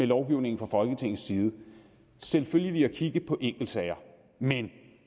lovgivningen fra folketingets side selvfølgelig at kigge på enkeltsager men